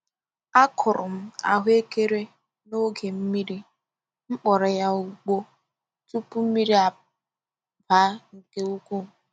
A kụrụ m ahụ ekere n'oge mmiri, m kpọrọ ya ugbo tupu mmiri baa nke ukwuu.